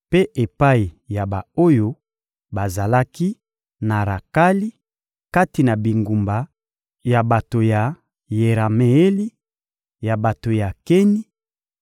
mpe epai ya ba-oyo bazalaki na Rakali, kati na bingumba ya bato ya Yerameeli, ya bato ya Keni;